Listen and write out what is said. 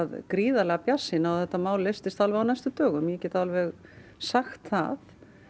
gríðarlega bjartsýn á að þetta mál leystist á næstu dögum ég get alveg sagt það